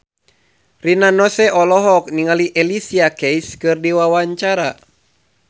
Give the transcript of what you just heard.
Rina Nose olohok ningali Alicia Keys keur diwawancara